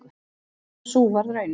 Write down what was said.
Og sú varð raunin.